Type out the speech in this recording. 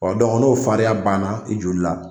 n'a fariya banna i joli la